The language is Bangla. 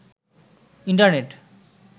ইন্টারনেট